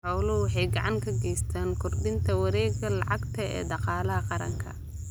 Xooluhu waxay gacan ka geystaan ??kordhinta wareegga lacagta ee dhaqaalaha qaranka.